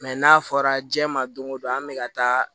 Mɛ n'a fɔra diɲɛ ma don o don an bɛ ka taa